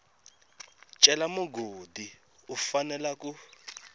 cela mugodi u fanela ku